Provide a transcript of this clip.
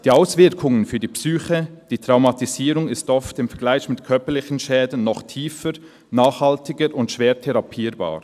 Die Auswirkungen für die Psyche, die Traumatisierung ist oft im Vergleich mit körperlichen Schäden noch tiefer, nachhaltiger und schwer therapierbar.